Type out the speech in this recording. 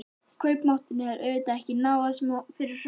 Kaupmátturinn hefur auðvitað ekki náð sem að var fyrir hrun?